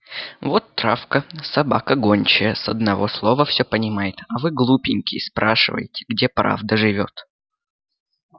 вот травка собака гончая с одного слова все понимает а вы глупенькие спрашиваете где правда живёт